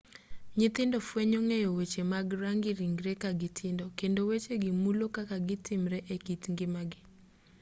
nyithindo fwenyo ng'eyo weche mag rangi ringree kagitindo kendo wechegi mulo kaka gitimre ekit ngimagi